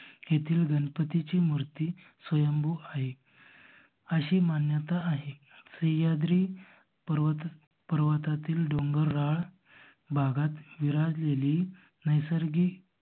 येथील गणपतीची मूर्ति स्वयंभू आहे. अशी मान्यता आहे सह्याद्रि पर्वत पर्वतातील डोंगराळ भागात विराजलेली नैसर्गिक